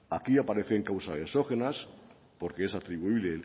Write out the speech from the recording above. aquí aparecen causas exógenas porque es atribuible